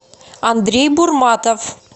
андрей бурматов